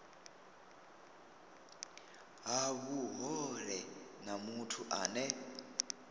ha vhuhole na muthu ane